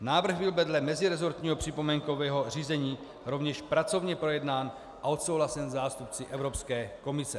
Návrh byl vedle meziresortního připomínkového řízení rovněž pracovně projednán a odsouhlasen zástupci Evropské komise.